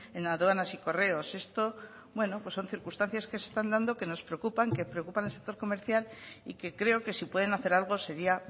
en aduanas y correos esto son circunstancias que se están dando que nos preocupan que preocupan al sector comercial y que creo que si pueden hacer algo sería